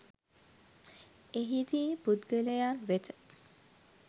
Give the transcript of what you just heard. එහිදී පුද්ගලයන් වෙත